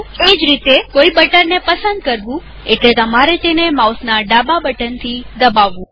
એજ રીતેકોઈ બટનને પસંદ કરવું એટલે તમારે તેને માઉસના ડાબા બટનથી દબાવવું